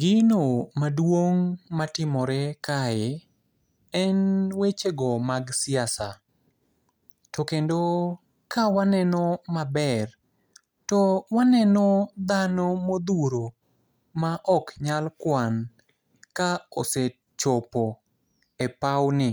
Gino maduong' matimore kae, en wechego mag siasa. To kendo kawaneno maber, to waneno dhano modhuro ma oknyal kuan, ka osechopo e pau ni.